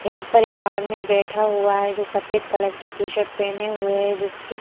यहां पर एक आदमी बैठा हुआ है जो सफेद कलर की टी शर्ट पहने हुए हैं जिसकी--